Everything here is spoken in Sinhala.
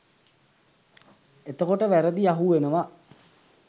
එතකොට වැරදි අහුවෙනව